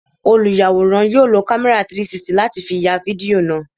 Olùyàwòrán yóò lo kámẹ́rà 360 láti fi ya fídíò náà.